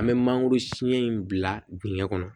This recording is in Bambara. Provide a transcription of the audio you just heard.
An bɛ mangoro siɲɛ in bila dingɛ kɔnɔ